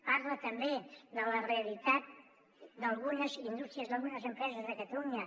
parla també de la realitat d’algunes indústries d’algunes empreses de catalunya